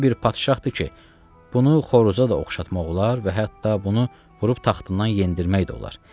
Bu bir padşahdır ki, bunu xoroza da oxşatmaq olar və hətta bunu vurub taxtından yendirmək də olar.